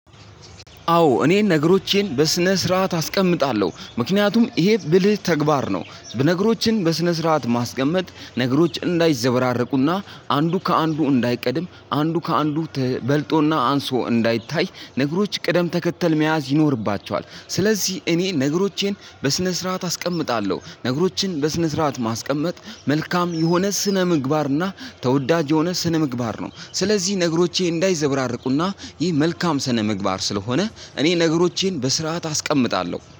አዎ እኔን ነገሮቼን በስነ ስርዓት አስቀምጣለሁ ምክንያቱም እሄ ብልህ ተግባር ነው በነገሮችን በስነ ስርዓት ማስቀመጥ ነገሮች እንዳይዘበራረቁና አንዱ ከአንዱ እንዳይቀድም አንዱ ከአንዱ በልጦና አንሶ እንዳይታይ ነገሮች ቅደም ተከተል መያዝ ይኖርባቸዋል ስለዚህ እኔ ነገሮቼን በስነ ስርዓት አስቀምጣለሁ። ነገሮችን በስነ ስርዓት ማስቀመጥ መልካም የሆነ ስነ ምግባርና ተወዳጅ የሆነ ስነ ምግባር ነው። ስለዚህ ነገሮቼ እንዳይዘበራርቁና ይህ መልካም ስነ ምግባር ስለሆነ እኔ ነገሮቼን በስርዓት አስቀምጣለሁ